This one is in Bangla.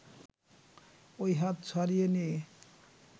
ওই হাত ছাড়িয়ে নিয়ে